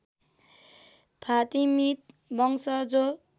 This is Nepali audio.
फातिमीद वंश जो